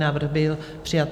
Návrh byl přijat.